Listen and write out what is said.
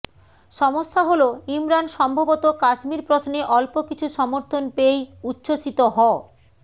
সমস্যা হল ইমরান সম্ভবত কাশ্মীর প্রশ্নে অল্প কিছু সমর্থন পেয়েই উচ্ছ্বসিত হ